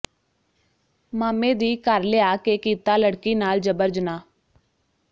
ਮਾਮੇ ਦੀ ਘਰ ਲਿਆ ਕੇ ਕੀਤਾ ਲੜਕੀ ਨਾਲ ਜਬਰ ਜਨਾਹ